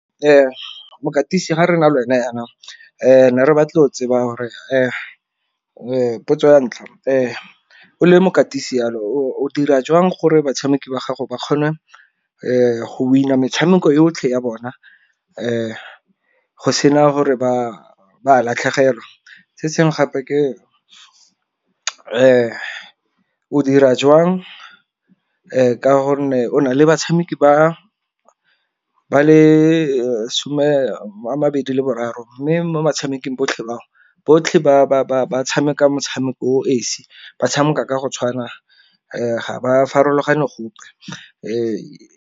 Mokatisi ga re na le wena yaana ne re batla go tseba hore potso ya ntlha o le mokatisi yalo o dira jwang gore batshameki ba gago ba kgone go winner metshameko yotlhe ya bona, go sena gore ba latlhegelwa. Se sengwe gape ke o dira jwang ka gonne o nale batshameki ba le some a mabedi le boraro, mme mo metshamekong botlhe batho botlhe ba tshameka motshameko esi ba tshameka ka go tshwana ga ba farologane gope .